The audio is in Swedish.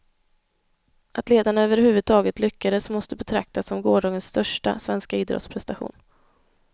Att ledarna över huvudtaget lyckades måste betraktas som gårdagens största, svenska idrottsprestation.